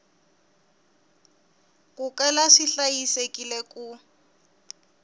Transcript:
ku kala swi hlayisekile ku